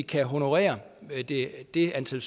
kan honorere det antal